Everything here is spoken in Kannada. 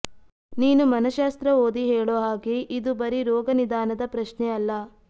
ನೀನು ಮನಶ್ಯಾಸ್ತ್ರ ಓದಿ ಹೇಳೋ ಹಾಗೆ ಇದು ಬರಿ ರೋಗನಿದಾನದ ಪ್ರಶ್ನೆ ಅಲ್ಲ